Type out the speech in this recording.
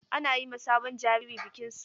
Ana yi ma sabon jariri bikin suna.